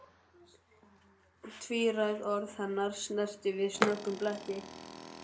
Tvíræð orð hennar snertu við snöggum bletti.